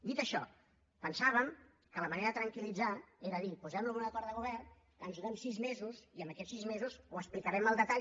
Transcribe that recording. dit això pensàvem que la manera de tranquil·litzar era dir posem ho en un acord de govern ens donem sis mesos i en aquests sis mesos ho explicarem al detall